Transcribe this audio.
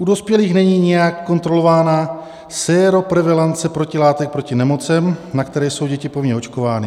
U dospělých není nijak kontrolována séroprevalence protilátek proti nemocem, na které jsou děti povinně očkovány.